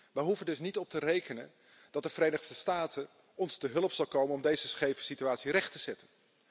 We hoeven er dus niet op te rekenen dat de Verenigde Staten ons te hulp zal komen om deze scheve situatie recht te zetten.